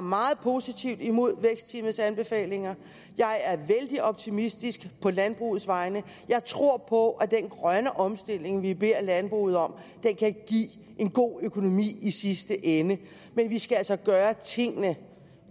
meget positivt imod vækstteamets anbefalinger jeg er vældig optimistisk på landbrugets vegne jeg tror på at den grønne omstilling vi beder landbruget om kan give en god økonomi i sidste ende men vi skal altså gøre tingene